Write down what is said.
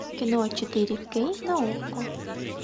кино четыре кей на окко